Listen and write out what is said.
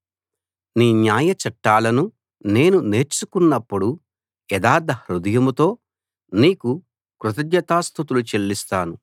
నీ న్యాయచట్టాలను నేను నేర్చుకున్నప్పుడు యథార్థ హృదయంతో నీకు కృతజ్ఞతాస్తుతులు చెల్లిస్తాను